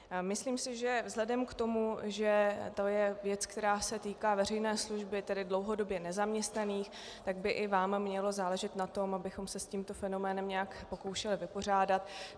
Myslím si, že vzhledem k tomu, že to je věc, která se týká veřejné služby, tedy dlouhodobě nezaměstnaných, tak by i vám mělo záležet na tom, abychom se s tímto fenoménem nějak pokoušeli vypořádat.